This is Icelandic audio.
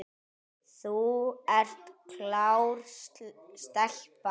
Þú ert klár stelpa.